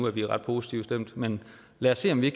at vi er ret positivt stemt men lad os se om vi